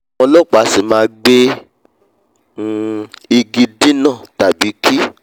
ọlọ́pàá a sì máa gbe um igi dínà tàbí kí